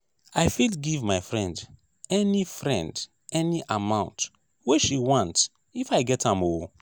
i fit give my friend any friend any amount wey she want if i get am o.